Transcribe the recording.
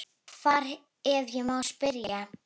Hvar, ef ég má spyrja?